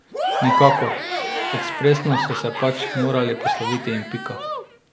Nikakor, ekspresno so se pač morali posloviti in pika.